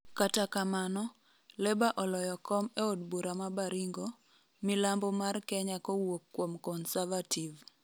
kata kamano, leba oloyo kom eod bura ma Baringo ,milambo mar Kenya kowuok kuom Conservative